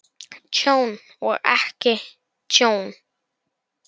Tjón og ekki tjón?